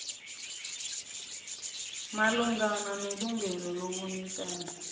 malungana nelungelo lobunikazi